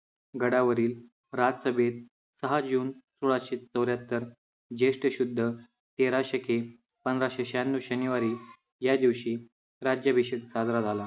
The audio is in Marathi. गडावरील राजसभेत सहा जून सोळाशे चौऱ्याहत्तर, ज्येष्ठ शुद्ध तेरा शके पन्नासशे शहाण्णव शनिवारी या दिवशी राज्याभिषेक साजरा झाला.